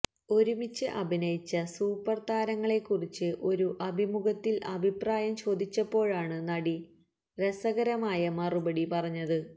ഒരുമിച്ച് അഭിനയിച്ച സൂപ്പർ താരങ്ങളെക്കുറിച്ച് ഒരു അഭിമുഖത്തിൽ അഭിപ്രായം ചോദിച്ചപ്പോഴാണ് നടി രസകരമായ മറുപടി പറഞ്ഞത്